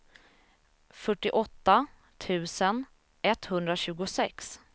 fyrtioåtta tusen etthundratjugosex